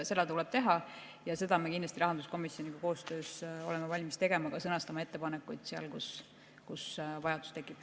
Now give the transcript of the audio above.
Seda tuleb teha ja seda me kindlasti rahanduskomisjoniga koostöös oleme valmis tegema, ka sõnastama ettepanekuid, kui vajadus tekib.